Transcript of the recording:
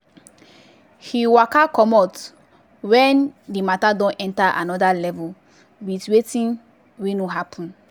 him waka commot wen di matter don enta anoda level with wetin wey no happen.